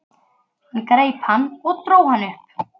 Hann greip hann og dró hann upp.